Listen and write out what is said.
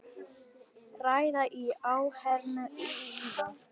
Ræða í áheyrn lýða.